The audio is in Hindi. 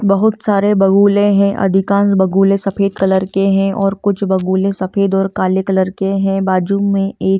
बहुत सारे बगुले है अधिकांस बगुले सफ़ेद कलर के है और कुछ बगुले सफ़ेद और काले कलर के है बाजू में एक--